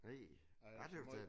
Nej jeg tøs det